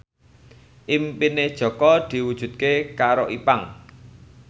impine Jaka diwujudke karo Ipank